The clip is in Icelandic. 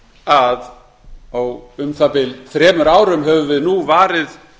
að á um það bil þremur árum höfum við varið